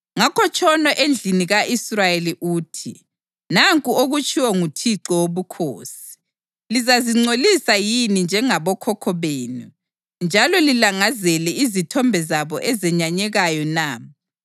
“Ngakho tshono endlini ka-Israyeli uthi: ‘Nanku okutshiwo nguThixo Wobukhosi: Lizazingcolisa yini njengabokhokho benu njalo lilangazele izithombe zabo ezenyanyekayo na?